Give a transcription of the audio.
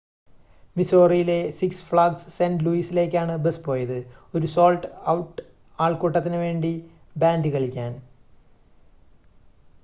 മിസോറിയിലെ Six Flags Saint ലൂയിസിലേക്കാണ് bus പോയത് ഒരു സോൾഡ് ഔട്ട് ആൾക്കൂട്ടത്തിനുവേണ്ടി ബാൻഡ് കളിക്കാൻ